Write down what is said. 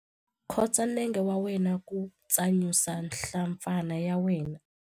Khotsa nenge wa wena ku tsanyusa nhlampfana ya wena.